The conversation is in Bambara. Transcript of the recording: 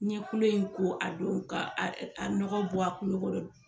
N kulo in ko a don ka ɛ a nɔgɔ bɔ a kulo kɔnɔ